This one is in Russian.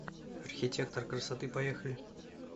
архитектор красоты поехали